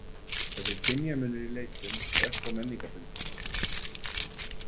Þessi kynjamunur í leikjum er þó menningarbundinn.